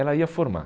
Ela ia formar.